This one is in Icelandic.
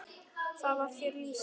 Þar var þér rétt lýst!